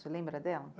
Você lembra dela?